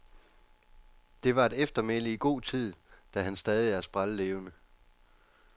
Det var et eftermæle i god tid, da han er stadig sprællevende.